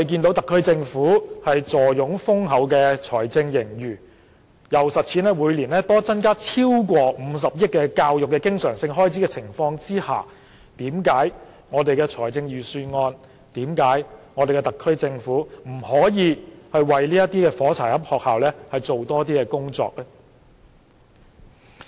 特區政府坐擁豐厚的財政盈餘，每年增加超過50億元教育經常性開支，為甚麼預算案、為甚麼特區政府不可以為這些"火柴盒式校舍"多做一點工作？